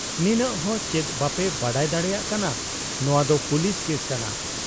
ᱱᱤᱱᱟᱹᱜ ᱦᱚᱸ ᱪᱮᱫ ᱵᱟᱯᱮ ᱵᱟᱰᱟᱭ ᱫᱟᱲᱮᱭᱟᱜ ᱠᱟᱱᱟ ᱱᱚᱶᱟᱫᱚ ᱯᱩᱞᱤᱥ ᱠᱮᱥ ᱠᱟᱱᱟ ᱾